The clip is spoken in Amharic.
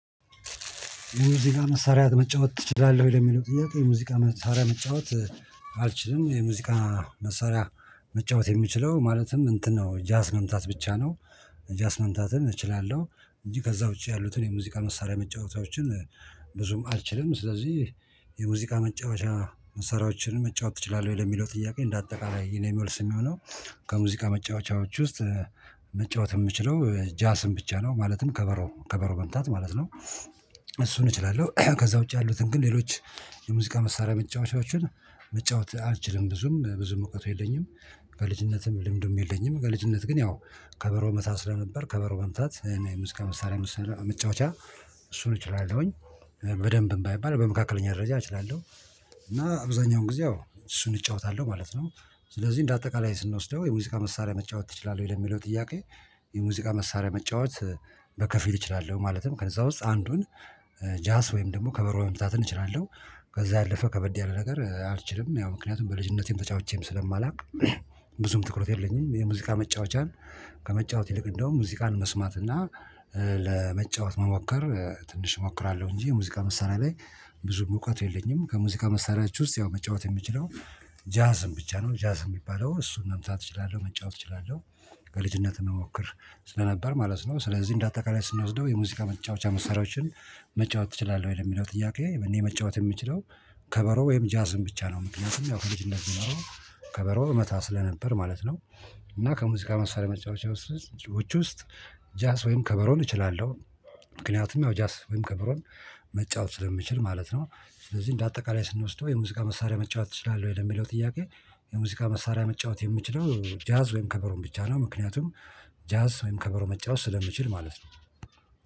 የሙዚቃ መሳሪያ መጫወት ትችላለህ ወይ? ለሚለው ጥያቄ ሙዚቃ መሳሪያ መጫወት አልችልም። የሙዚቃ መሳሪያ መጫወት የምችለው ማለትም እንትን ነው ጃዝ መምታት ብቻ ነው። ጃዝ መምታትን እችላለሁ። እንጂ ከዛ ውጪ ያሉትን የሙዚቃ መሳሪያ መጫወቻዎችን ብዙም አልችልም። ስለዚህ የሙዚቃ መጫወቻ መሳሪያዎችን መጫወት ትችላለ ወይ ለሚለው ጥያቄ እንደ አጠቃላይ የኔ መልስ የሚሆነው። ከሙዚቃ መጫወቻዎች ውስጥ መጫወት የምችለው ጃዝን ብቻ ነው ማለትም ከበሮ ከበሮ መምጣት ማለት ነው። እሱን እችላለሁ ከዛ ውጪ ያሉትን ግን ሌሎች የሙዚቃ መሳሪያ መጫወቻችሁን መጫወት አልችልም። ብዙም ብዙም እውቀቱ የለኝም። ከልጅነትም ልምዱም የለኝም ከልጅነት ግን ያው ከበሮ እመታ ስለነበር ከበሮ መምታት እና ሙዚቃ መሳሪያ መጫወቻ እሱን እችላለሁኝ። በደንብም ባይባል በመካከለኛ ደረጃ እችላለሁ። እና አብዛኛውን ጊዜ እሱን እጫወታለሁ ማለት ነው። ስለዚህ እንደ አጠቃላይ ስንወስደው የሙዚቃ መሳሪያ መጫወት ትችላለ ወይ? ለሚለው ጥያቄ የሙዚቃ መሳሪያ መጫወት በከፊል እችላለሁ ማለትም ከዛ ውስጥ አንዱን ጃዝ ወይም ደግሞ ከበሮ መማታትን እችላለው። ከዛ ያለፈ ከበድ ያለ ነገር አልችልም ያው ምክንያቱም በልጅነቴም ተጫውቼም ስለማላውቅ። ብዙም ትኩረት የለኝም የሙዚቃ መጫወቻን ከመጫወት ይልቅ እንደውም ሙዚቃን መስማት እና ለመጫወት መሞከር ትንሽ እሞክራለሁ። እንጂ የሙዚቃ መሳሪያ ላይ ብዙም እውቀቱ የለኝም። ከሙዚቃ መሳሪያዎች ውስጥ ያው መጫወት የምችለው ጃዝን ብቻ ነው። ጃዝ የሚባለው እሱን መምታት እችላለሁ መጫወት እችላለሁ። ከልጅነትህ እሞከር ስለነበር ማለት ነው። ስለዚህ እንደ አጠቃላይ ስንወስደው የሙዚቃ መጫወቻ መስሪያዎችን መጫወት ትችላለህ ወይ? ለሚለው ጥያቄ እኔ መጫወት የምችለው ከበሮ ወይም ጃዝን ብቻ ነው። ምክንያቱም ያው ከልጅነት ከበሮ እመታ ስለነበር ማለት ነው። እና ከሙዚቃ መሳሪያ መጫወቻ ውስጥ ጃዝ ወይም ከበሮን እችላለሁ። ምክንያቱም ያው ጃዝ ወይም ከብሮን መጫወት ስለምችል ማለት ነው። ስለዚህ እንደ አጠቃላይ ስንወስደው የሙዚቃ መሳሪያ መጫወት ትችላለ ወይ? ለሚለው ጥያቄ የሙዚቃ መሳሪያ መጫወት የምችለው ጃዝ ወይም ከበሮን ብቻ ነው። ምክንያቱም ጃዝ ወይም ከበሮ መጫወት ስለምችል ማለት ነው